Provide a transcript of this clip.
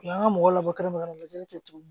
U y'an ka mɔgɔ labɔ kɛrɛnkɛrɛnnen ka na lajɛli kɛ tuguni